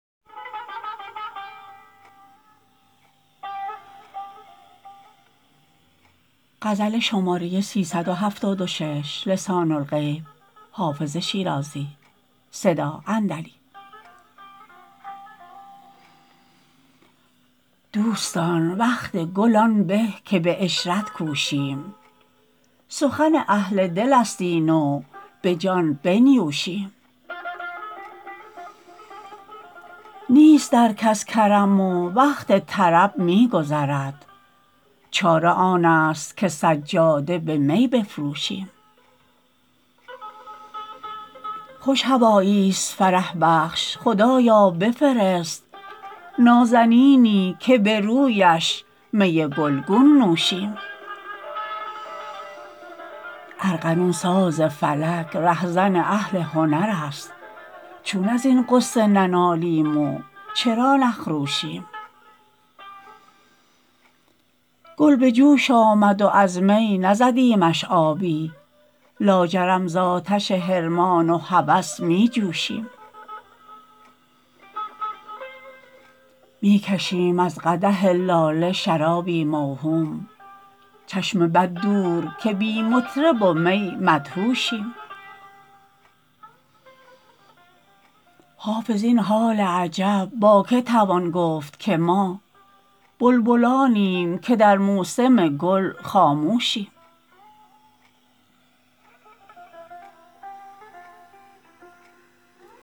دوستان وقت گل آن به که به عشرت کوشیم سخن اهل دل است این و به جان بنیوشیم نیست در کس کرم و وقت طرب می گذرد چاره آن است که سجاده به می بفروشیم خوش هوایی ست فرح بخش خدایا بفرست نازنینی که به رویش می گل گون نوشیم ارغنون ساز فلک ره زن اهل هنر است چون از این غصه ننالیم و چرا نخروشیم گل به جوش آمد و از می نزدیمش آبی لاجرم زآتش حرمان و هوس می جوشیم می کشیم از قدح لاله شرابی موهوم چشم بد دور که بی مطرب و می مدهوشیم حافظ این حال عجب با که توان گفت که ما بلبلانیم که در موسم گل خاموشیم